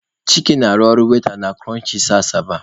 Chike na-arụ waita na kụrọnchịs Asaba.